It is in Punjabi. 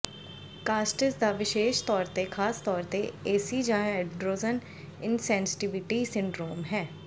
ਕਾਸਟਿਸ ਦਾ ਵਿਸ਼ੇਸ਼ ਤੌਰ ਤੇ ਖਾਸ ਤੌਰ ਤੇ ਏਸੀ ਜਾਂ ਐਂਡ੍ਰੋਜਨ ਇਨਸੈਂਸੀਟੀਵਿਟੀ ਸਿੰਡਰੋਮ ਹੈ